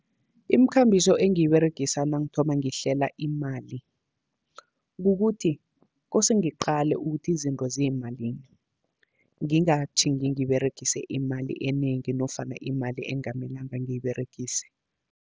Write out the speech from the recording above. Imikhambiso engiyiberegisa nangithoma ngihlela imali, kukuthi kose ngiqale ukuthi izinto ziyimalini, ngingatjhingi ngiberegise imali enengi nofana imali engamelanga ngiyiberegise.